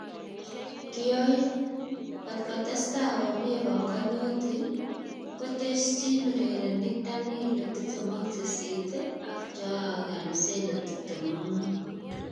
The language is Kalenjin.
(Mirror) Kotkotrstai komnye panganutik, koteschin urerenik Danilo 28, ak Joao Cancelo, 25.